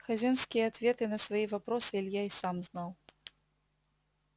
хазинские ответы на свои вопросы илья и сам знал